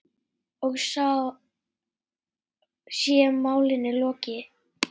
Og þá sé málinu lokið.